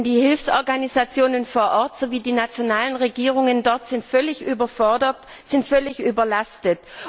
Denn die Hilfsorganisationen vor Ort sowie die nationalen Regierungen dort sind völlig überfordert, sind völlig überlastet.